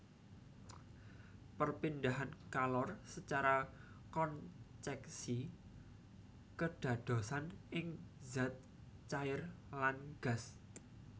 Perpindahan kalor secara konceksi kedadosan ing zat cair lan gas